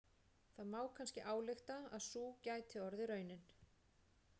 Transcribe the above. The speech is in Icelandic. Það má kannski álykta að sú gæti orðið raunin.